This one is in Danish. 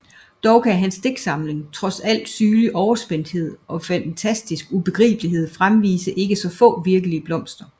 Dog kan hans digtning trods al sygelig overspændthed og fantastisk ubegribelighed fremvise ikke få virkelige blomster